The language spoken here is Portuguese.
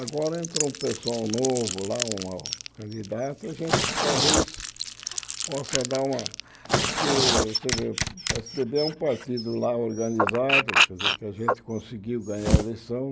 Agora entra um pessoal novo lá, uma candidata, a gente talvez possa dar uma... Porque você vê o pê ésse dê bê é um partido lá organizado, quer dizer, que a gente conseguiu ganhar a eleição.